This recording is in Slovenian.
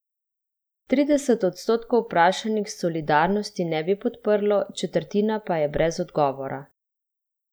Trideset odstotkov vprašanih Solidarnosti ne bi podprlo, četrtina pa je brez odgovora.